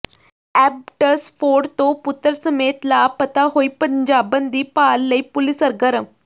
Abbotsford ਤੋਂ ਪੁੱਤਰ ਸਮੇਤ ਲਾਪਤਾ ਹੋਈ ਪੰਜਾਬਣ ਦੀ ਭਾਲ ਲਈ ਪੁਲਿਸ ਸਰਗਰਮ